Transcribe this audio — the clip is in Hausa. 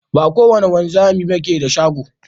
Ba ko wada wanzami ne ke da shago.